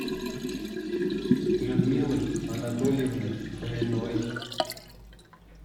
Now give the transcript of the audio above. людмилой анатольевной фоминой